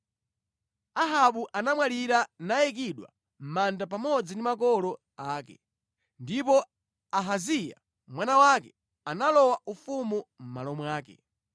Ahabu anamwalira nayikidwa mʼmanda pamodzi ndi makolo ake. Ndipo Ahaziya mwana wake analowa ufumu mʼmalo mwake.